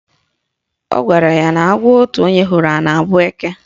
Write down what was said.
Ọ gwara ya na agwọ otu onye hụrụ na-abụ eke?